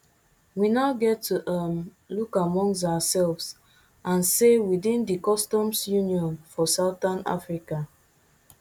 we now get to um look amongst ourselves and say within di customs union for southern africa